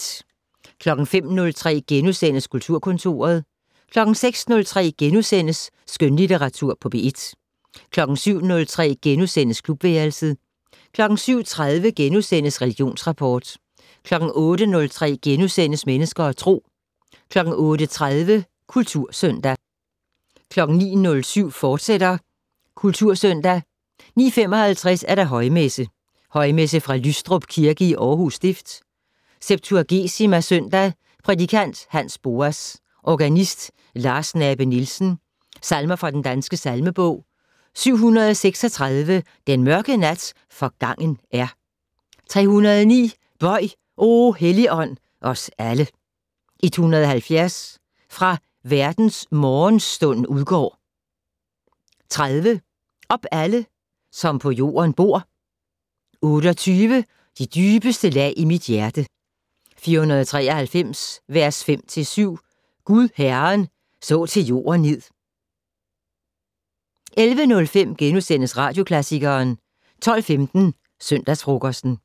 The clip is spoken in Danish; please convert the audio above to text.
05:03: Kulturkontoret * 06:03: Skønlitteratur på P1 * 07:03: Klubværelset * 07:30: Religionsrapport * 08:03: Mennesker og Tro * 08:30: Kultursøndag 09:07: Kultursøndag, fortsat 09:55: Højmesse - Højmesse fra Lystrup Kirke, Aarhus Stift. Septuagesima søndag. Prædikant: Hans Boas. Organist: Lars Nabe-Nielsen. Salmer fra Den Danske Salmebog: 736 "Den mørke nat forgangen er". 309 "Bøj, o Helligånd, os alle". 170 "Fra verdens morgenstund udgår". 30 "Op alle som på jorden bor". 28 "De dybeste lag i mit hjerte". 493 vers 5-7 "Gud Herren så til jorden ned". 11:05: Radioklassikeren * 12:15: Søndagsfrokosten